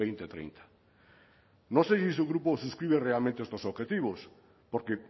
dos mil treinta no sé si su grupo suscribe realmente estos objetivos porque